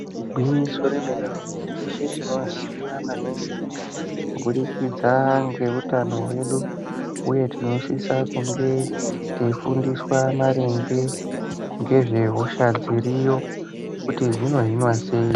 Igwinyiso remene-mene, teshe tinoziya maningi kubudikidza ngeutano hwedu ,uye tinosisa kunge teifundiswa maringe ngezvehosha dziriyo kuti dzinohinwa sei.